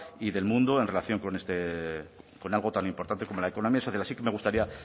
y del mundo en relación con algo tan importante como la economía social así que me gustaría